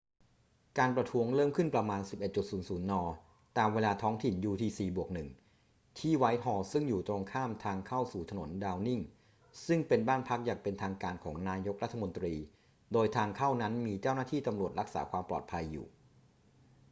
การประท้วงเริ่มขึ้นประมาณ 11.00 น. ตามเวลาท้องถิ่น utc+1 ที่ไวท์ฮอลล์ซึ่งอยู่ตรงข้ามทางเข้าสู่ถนนดาวนิงซึ่งเป็นบ้านพักอย่างเป็นทางการของนายกรัฐมนตรี โดยทางเข้านั้นมีเจ้าหน้าที่ตำรวจรักษาความปลอดภัยอยู่